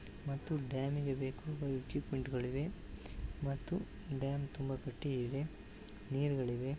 ಮತ್ತು ಡ್ಯಾಮಿಗೆ ಬೇಕಾದಂತಹ ಈಕ್ವಿಎಂಟ್ ಇದೆ ಮತ್ತು ಡ್ಯಾಮ್ ತುಂಬಾ ಗಟ್ಟಿ ಇದೆ ನೀರ್ ಗಳಿವೆ.